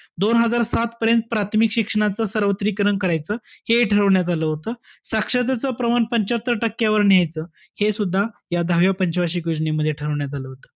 दोन हजार सात पर्यंत प्राथमिक शिक्षणाचं सर्वत्रीकरण करायचं हे ठरवण्यात आलं होतं. साक्षरतेचं प्रमाण पंच्यात्तर टक्क्यावर न्यायचं हे सुद्धा या दहाव्या पंच वार्षिक योजनेमध्ये ठरवण्यात आलं होतं.